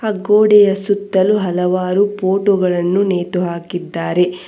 ಆ ಗೋಡೆಯ ಸುತ್ತಲು ಹಲವಾರು ಫೋಟೋ ಗಳನ್ನು ನೇತು ಹಾಕಿದ್ದಾರೆ.